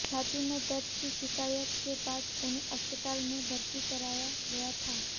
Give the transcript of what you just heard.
छाती में दर्द की शिकायत के बाद उन्हें अस्पताल में भर्ती कराया गया था